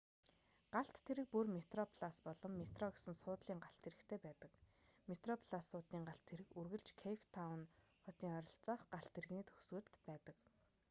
галт тэрэг бүр метроплас болон метро гэсэн суудлын галт тэрэгтэй байдаг метроплас суудлын галт тэрэг үргэлж кейптаун хотын ойролцоох галт тэрэгний төгсгөлд байдаг